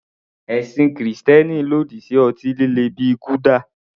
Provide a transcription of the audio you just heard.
Ẹ̀sìn Kristẹni lòdì sí ọtí líle bíi gulder.